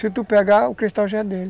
Se tu pegar, o cristal já é dele.